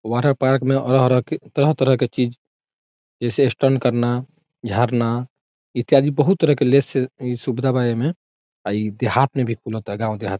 water park में रह रह के तरह तरह के चीज़ जैसे स्टंट करना झरना इत्यादि बहुत तरह के लैस से सुविधा बा एह में आ ई देहात में भी खुलता गाँव देहात में--